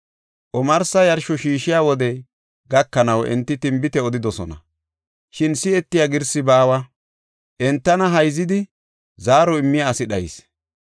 Omarsi yarsho shiishiya wodey gakanaw enti tinbite odidosona; shin si7etiya girsi baawa; entana hayzidi zaaro immiya asi dhayis.